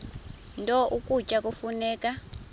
nto ukutya kufuneka